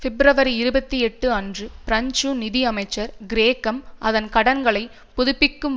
பிப்ரவரி இருபத்தி எட்டு அன்று பிரெஞ்சு நிதி அமைச்சர் கிரேக்கம் அதன் கடன்களை புதுப்பிக்கும்